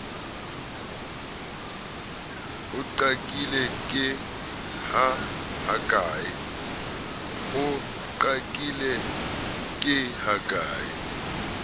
o qakile ke ha ke